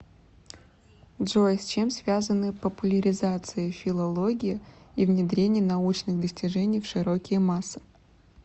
джой с чем связаны популяризация филологии и внедрение научных достижений в широкие массы